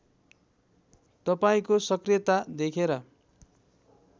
तपाईँको सकृयता देखेर